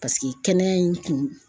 Paseke kɛnɛya in kun.